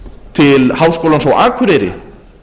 til háskólans á akureyri